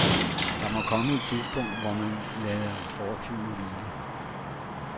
Der må komme et tidspunkt, hvor man lader fortiden hvile.